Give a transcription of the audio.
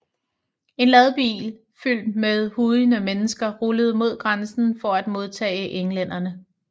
En ladbil fyldt med hujende mennesker ruller mod grænsen for at modtage englænderne